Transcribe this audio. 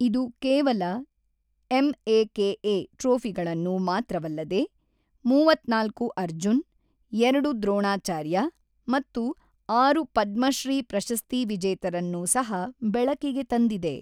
ಇದು ಕೇವಲ ಎಂಎಕೆಎ ಟ್ರೋಫಿಗಳನ್ನು ಮಾತ್ರವಲ್ಲದೆ, ಮೂವತ್ತ್ನಾಲ್ಕು ಅರ್ಜುನ್, ಎರಡು ದ್ರೋಣಾಚಾರ್ಯ ಮತ್ತು ಆರು ಪದ್ಮಶ್ರೀ ಪ್ರಶಸ್ತಿ ವಿಜೇತರನ್ನು ಸಹ ಬೆಳಕಿಗೆ ತಂದಿದೆ.